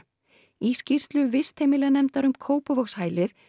í skýrslu vistheimilanefndar um Kópavogshælið